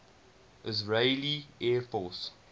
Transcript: israeli air force